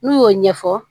N'u y'o ɲɛfɔ